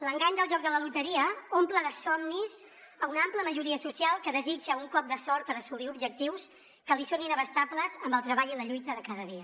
l’engany del joc de la loteria omple de somnis una ampla majoria social que desitja un cop de sort per assolir objectius que li són inabastables amb el treball i la lluita de cada dia